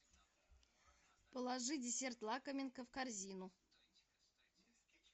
положи десерт лакоминка в корзину